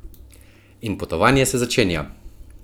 In potovanje se začenja!